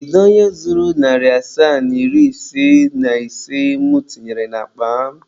Kedu onye zuru narị asaa na iri ise na ise mụ tinyere n'akpa m?